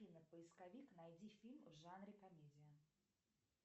афина поисковик найди фильм в жанре комедия